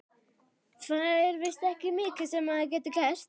Það er víst ekki mikið sem maður getur gert.